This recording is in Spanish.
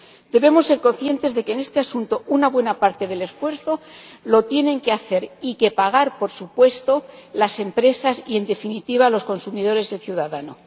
Debemos ser conscientes de que, en este asunto, una buena parte del esfuerzo lo tienen que hacer y que pagar, por supuesto, las empresas y, en definitiva, los consumidores y el ciudadano.